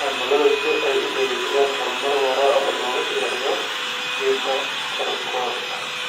cimilada si ay u dhiirigeliyaan horumar waara oo loo yareeyo qiiqa kaarboonka.